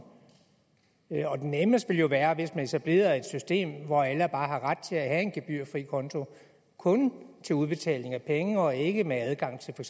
det nemmeste ville jo være hvis man etablerede et system hvor alle bare havde ret til at have en gebyrfri konto kun til udbetaling af penge og ikke med adgang til for